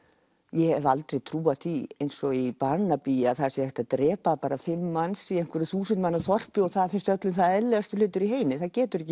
ég hef aldrei trúað því eins og í Barnaby að það sé hægt að drepa fimm manns í einhverju þúsund manna þorpi og það finnst öllum það eðlilegasti hlutur í heimi það getur ekki